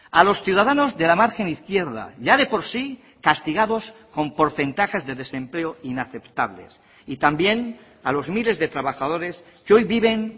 a los ciudadanos de la margen izquierda ya de por sí castigados con porcentajes de desempleo inaceptables y también a los miles de trabajadores que hoy viven